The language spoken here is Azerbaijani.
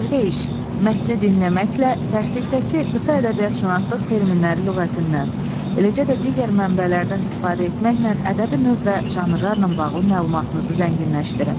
Evdə iş: Mətni dinləməklə dərslikdəki qısa ədəbiyyatşünaslıq terminləri lüğətindən, eləcə də digər mənbələrdən istifadə etməklə ədəbi növ və janrlarla bağlı məlumatınızı zənginləşdirin.